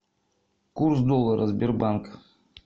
курс доллара сбербанк